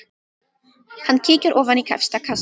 Hann kíkir ofan í efsta kassann.